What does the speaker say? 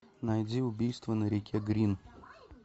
найди убийство на реке грин